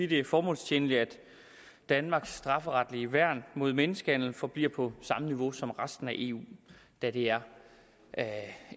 det er formålstjenligt at danmarks strafferetlige værn mod menneskehandel forbliver på samme niveau som resten af eus da det er